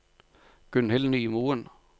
Gunhild Nymoen